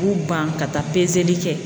U ban ka taa peseli kɛ.